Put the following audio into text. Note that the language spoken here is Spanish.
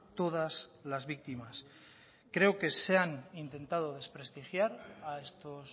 todas las víctimas creo que se han intentado desprestigiar a estos